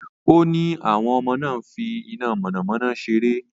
Ó ní àwọn ọmọ náà ń fi iná mọ̀nàmọ́ná ṣeré.